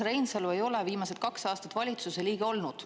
Urmas Reinsalu ei ole viimased kaks aastat valitsuse liige olnud.